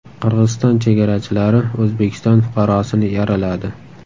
Qirg‘iziston chegarachilari O‘zbekiston fuqarosini yaraladi.